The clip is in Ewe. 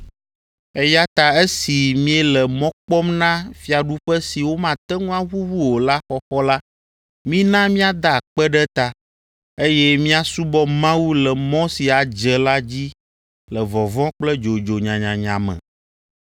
Eya ta esi míele mɔ kpɔm na fiaɖuƒe si womate ŋu aʋuʋu o la xɔxɔ la, mina míada akpe ɖe eta, eye míasubɔ Mawu le mɔ si adze la dzi le vɔvɔ̃ kple dzodzo nyanyanya me,